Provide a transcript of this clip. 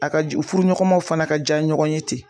A ka ju furuɲɔgɔmaw fana ka ja ɲɔgɔn ye ten